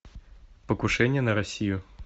покушение на россию